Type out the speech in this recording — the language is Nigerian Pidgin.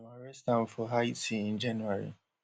dem arrest am for haiti in january